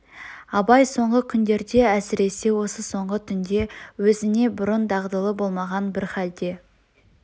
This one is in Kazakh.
абай соңғы күндерде әсіресе осы соңғы түнде өзіне бұрын дағдылы болмаған бір халде